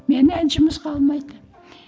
мені жұмысқа алмайды